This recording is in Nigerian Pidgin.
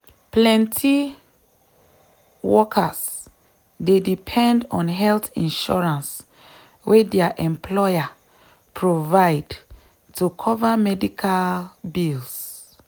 plenty workers dey depend on health insurance wey dia employer provide to cover medical bills.